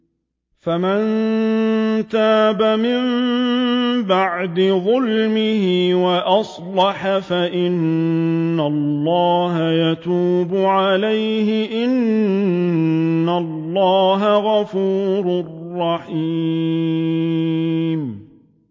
فَمَن تَابَ مِن بَعْدِ ظُلْمِهِ وَأَصْلَحَ فَإِنَّ اللَّهَ يَتُوبُ عَلَيْهِ ۗ إِنَّ اللَّهَ غَفُورٌ رَّحِيمٌ